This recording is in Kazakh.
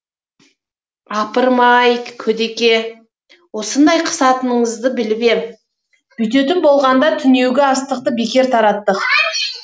апырм ай көдеке осындай қысатыныңызды біліп ем бүйтетін болғанда түнеугі астықты бекер тараттық